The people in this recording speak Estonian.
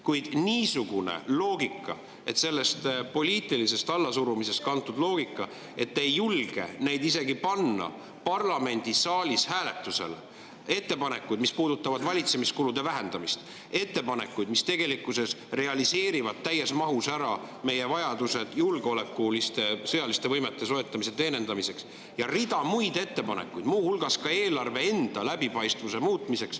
Kuid niisugune loogika, poliitilisest allasurumisest kantud loogika, et te ei julge neid isegi panna parlamendisaalis hääletusele, ettepanekuid, mis puudutavad valitsemiskulude vähendamist, ettepanekuid, mis tegelikkuses realiseerivad täies mahus meie vajadused julgeolekuliste, sõjaliste võimete soetamiseks, ja rida muid ettepanekuid, muu hulgas ka eelarve läbipaistvamaks muutmiseks …